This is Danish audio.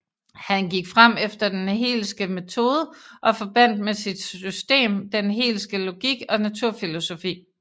Han gik frem efter den Hegelske metode og forbandt med sit system den Hegelske logik og naturfilosofi